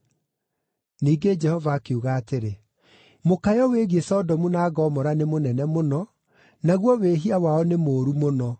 Ningĩ Jehova akiuga atĩrĩ, “Mũkayo wĩgiĩ Sodomu na Gomora nĩ mũnene mũno, naguo wĩhia wao nĩ mũũru mũno.